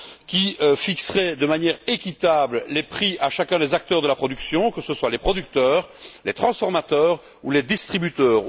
qui fixerait de manière équitable les prix pour chacun des acteurs de la production, que ce soit les producteurs, les transformateurs ou les distributeurs.